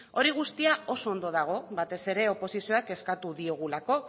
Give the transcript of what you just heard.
hori guztia oso ondo dago batez ere oposizioak eskatu diogulako